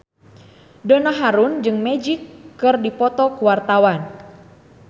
Donna Harun jeung Magic keur dipoto ku wartawan